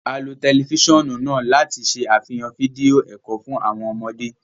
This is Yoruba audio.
A lo tẹlifisiọnu náà láti ṣe afihan fídíò ẹkọ fún awọn ọmọde